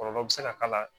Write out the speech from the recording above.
Kɔlɔlɔ bɛ se ka k'a la